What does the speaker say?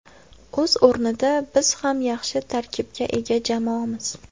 O‘z o‘rnida biz ham yaxshi tarkibga ega jamoamiz.